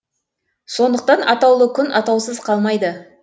сондықтан атаулы күн атаусыз қалмайды